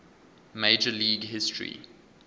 major league history